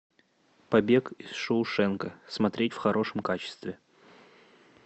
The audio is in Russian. побег из шоушенка смотреть в хорошем качестве